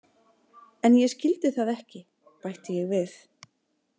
En ég skildi það ekki, bætti ég við.